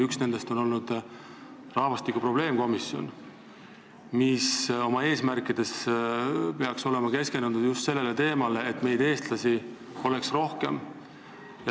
Üks nendest on rahvastikukriisi lahendamise probleemkomisjon, kes peaks olema keskendunud just sellele eesmärgile, et meid, eestlasi, oleks rohkem.